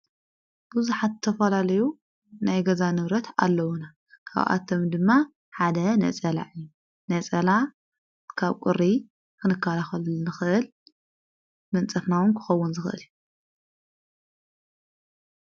ብዙሓት ዝተፈላለዩ ናይ ገዛ ንብረት ኣለዉና። ካብኣቶም ድማ ሓደ ነጸላ እዩ ።ነጸላ ካብ ቊሪ ክንከላኸለሉ ንኽእል መንጸፍና እውን ክኸውን ዝኽእል እዩ።